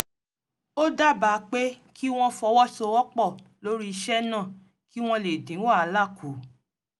ó dábàá pé kí wọ́n fọwọ́sowọ́pọ̀ lórí iṣẹ́ náà kí wọ́n lè dín wàhálà kù